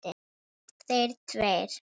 Þeir tveir.